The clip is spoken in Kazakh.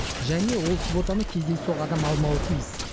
және ол квотаны кездейсоқ адам алмауы тиіс